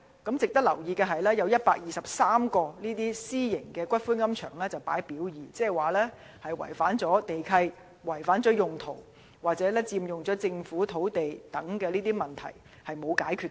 值得留意的是，有123間私營龕場列於"表二"，即它們涉及違反地契條款、規劃用途或佔用政府土地等問題，而問題仍未解決。